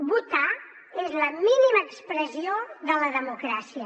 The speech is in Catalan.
votar és la mínima expressió de la democràcia